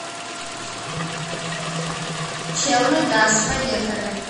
челныгаз поехали